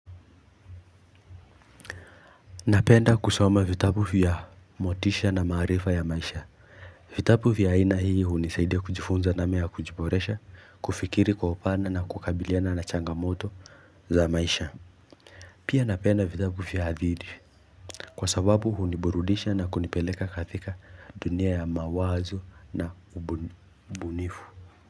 Napenda kusoma vitabu vya motisha na maarifa ya maisha vitabu ya aina hii hunisaidia kujifunza namna ya kujiboresha kufikiri kwa upana na kukabiliana na changamoto za maisha Pia napenda vitabu ya hadidhi kwa sababu huniburudisha na kunipeleka katika dunia ya mawazo na ubunifu.